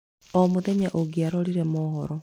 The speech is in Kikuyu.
O muthenya ũngĩarorire mohoro